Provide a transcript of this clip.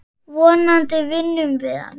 Vonandi vinnum við hann.